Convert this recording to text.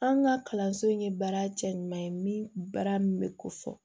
An ka kalanso in ye baara cɛ ɲuman ye min baara min bɛ ko fɔ